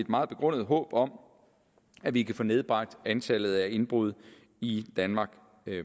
meget begrundet håb om at vi kan få nedbragt antallet af indbrud i danmark